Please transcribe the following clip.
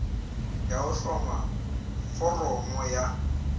ya ho hloma foramo ya